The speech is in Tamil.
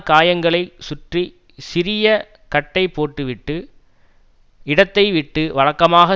காயங்களைச் சுற்றி சிறிய கட்டைப்போட்டுவிட்டு இடத்தைவிட்டு வழக்கமாக